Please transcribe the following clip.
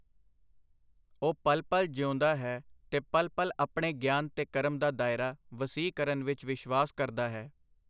ਉਹ ਪਲ-ਪਲ ਜੀਊਂਦਾ ਹੈ, ਤੇ ਪਲ-ਪਲ ਆਪਣੇ ਗਿਆਨ ਤੇ ਕਰਮ ਦਾ ਦਾਇਰਾ ਵਸੀਹ ਕਰਨ ਵਿਚ ਵਿਸ਼ਵਾਸ ਕਰਦਾ ਹੈ.